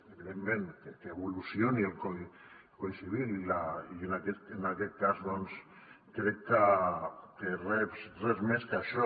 evidentment que evolucioni el codi civil i en aquest cas doncs crec que res més que això